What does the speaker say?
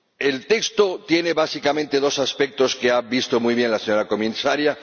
El texto tiene, básicamente, dos aspectos, que ha visto muy bien la señora Comisaria.